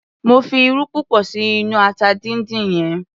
Mo fi irú púpọ̀ sí inú ata dindin yẹn.